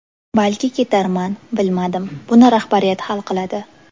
Balki ketarman, bilmadim, buni rahbariyat hal qiladi.